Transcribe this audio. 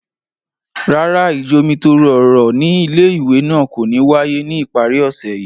Rárá, ijomitoro ọrọ ni ìlé-ìwé náà ko ni waye ni ipari ọsẹ yii.